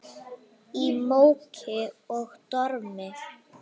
Í móki og dormi.